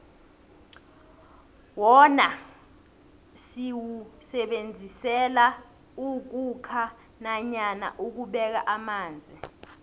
wona siwusebenzisela ukhukha nanyana ukubeka amanzi